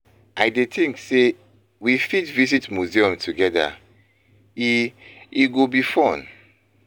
I dey think say we fit visit museum together; e e go be fun.